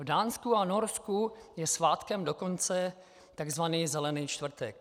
V Dánsku a Norsku je svátkem dokonce tzv. Zelený čtvrtek.